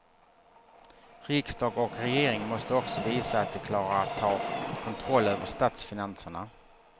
Riksdag och regering måste också visa att de klarar att ta kontroll över statsfinanserna.